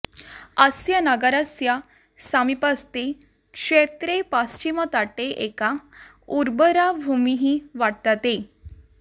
अस्य नगरस्य समीपस्थे क्षेत्रे पश्चिमतटे एका उर्वरा भूमिः वर्तते